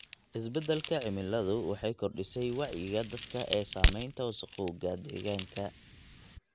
Isbeddelka cimiladu waxay kordhisay wacyiga dadka ee saamaynta wasakhowga deegaanka.